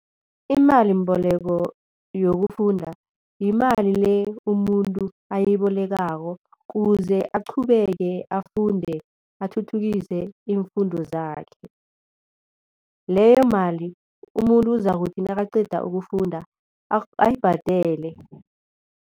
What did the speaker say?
Imalimboleko yokufunda yimali le umuntu ayibolekako ukuze aqhubeke afunde, athuthukise iimfundo zakhe. Leyo mali umuntu uzakuthi nakaqeda ukufunda ayibhadele.